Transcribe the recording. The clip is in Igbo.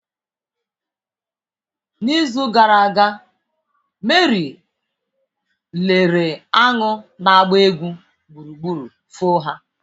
n'izu gara aga Meri lere aṅụ na-agba egwu gburugburu foo ha